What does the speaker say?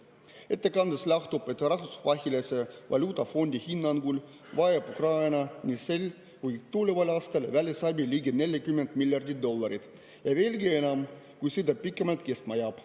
Ettekandest lähtus, et Rahvusvahelise Valuutafondi hinnangul vajab Ukraina nii sel kui ka tuleval aastal välisabi ligi 40 miljardit dollarit või veelgi enam, kui sõda pikemalt kestma jääb.